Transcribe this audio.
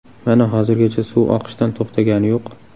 Mana hozirgacha suv oqishdan to‘xtagani yo‘q”.